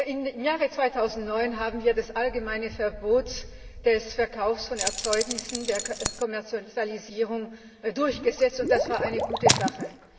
Im Jahre 2009 haben wir das allgemeine Verbot des Verkaufs von Erzeugnissen zur Kommerzialisierung durchgesetzt, und das war eine gute Sache.